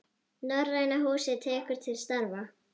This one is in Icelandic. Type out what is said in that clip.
Norræna húsið tekur til starfa